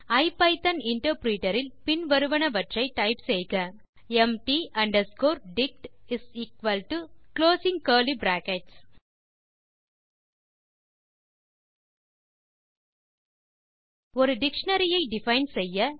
ஐபிதான் interpreter இல் பின் வருவனவற்றை டைப் செய்க mat underscore dict closing curly brackets ஒரு டிக்ஷனரி ஐ டிஃபைன் செய்ய